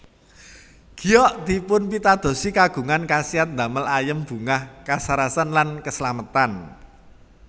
Giok dipunpitadosi kagungan khasiat damel ayem bungah kasarasan lan keslametan